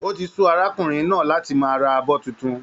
O tí su arákùnrin náà láti máa ra abọ títún.